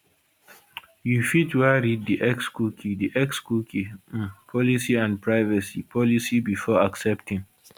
you fit wan read di xcookie di xcookie um policyandprivacy policybefore accepting